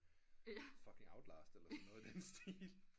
Fucking outlast eller noget i den stil